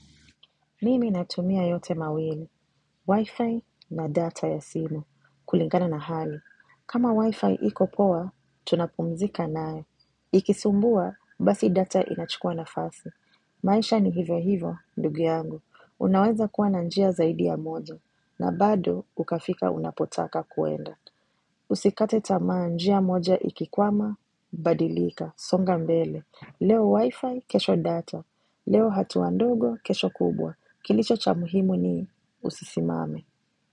Mimi natumia yote mawini, Wi-Fi na data ya simu, kulingana na hali. Kama Wi-Fi iko poa, tunapumzika nayo Ikisumbua, basi data inachukua nafasi maisha ni hivyo hivyo, ndugu yangu. Unaweza kuwa na njia zaidi ya mozo, na bado ukafika unapotaka kuenda. Usikate tamaa njia moja ikikwama, badilika, songa mbele. Leo Wi-Fi kesho data, leo hatuwa ndogo kesho kubwa. Kilicho cha muhimu ni usisimame.